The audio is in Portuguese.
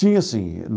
Tinha sim.